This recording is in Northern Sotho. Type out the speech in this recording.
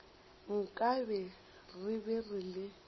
nkabe re be re le